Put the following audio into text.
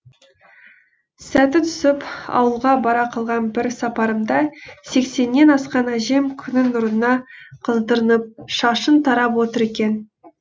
сәті түсіп ауылға бара қалған бір сапарымда сексеннен асқан әжем күннің нұрына қыздырынып шашын тарап отыр екен